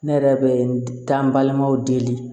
Ne yɛrɛ bɛ n ta balimaw deli